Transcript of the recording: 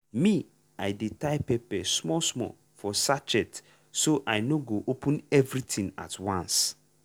me i dey tie pepper small small for sachet so i no go open everything at once.